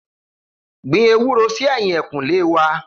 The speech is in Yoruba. Gbin èwúrò si ẹ̀yín ẹkùn lẹ wà